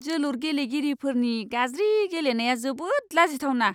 जोलुर गेलेगिरिफोरनि गाज्रि गेलेनाया जोबोद लाजिथावना!